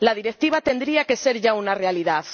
La Directiva tendría que ser ya una realidad.